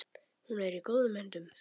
Hún er í góðum höndum.